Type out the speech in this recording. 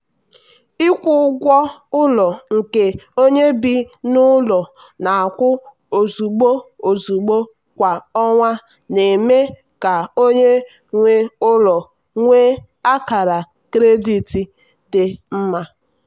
ịkwụ ụgwọ ụlọ nke onye bi n'ụlọ na-akwụ ozugbo ozugbo kwa ọnwa na-eme ka onye nwe ụlọ nwee akara kredit dị mma.